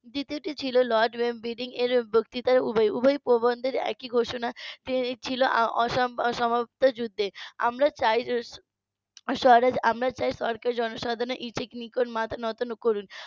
দ্বিতীয়টি ছিল লর্ড ওয়েববিডিং এর বক্তৃতায় উভয় প্রবন্ধের একই ঘোষণা যে ছিল অসমাপ্ত যুদ্ধের আমরা চাই আমরা চাই সরকার জনসাধারণের নিকট মাথা নত না করুন